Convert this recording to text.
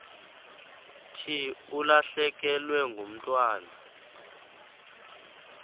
thi ulahlekelwe ngumntwana